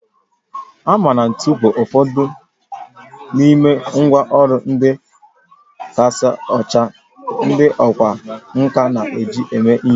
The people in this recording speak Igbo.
Hama na ntu bụ ụfọdụ n'ime ngwá ọrụ ndị kasị ochie ndị ọkwá nkà na-eji eme ihe